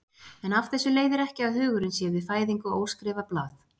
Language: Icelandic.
En af þessu leiðir ekki að hugurinn sé við fæðingu óskrifað blað.